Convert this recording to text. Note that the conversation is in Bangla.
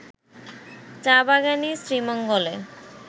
চা-বাগানই শ্রীমঙ্গলে